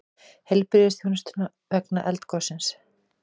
Heilbrigðisþjónusta vegna eldgossins